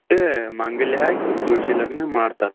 ಇಟ್ಟ್ ಮಾಂಗಲ್ಯ ಹಾಕಿ ತುಳಸಿ ಲಗ್ನಾ ಮಾಡ್ತಾರ್.